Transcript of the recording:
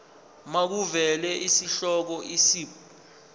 makuvele isihloko isib